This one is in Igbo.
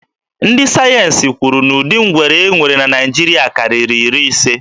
Ndị sayensi kwuru na ụdị ngwere e nwere na Naịjiria karịrị iri ise.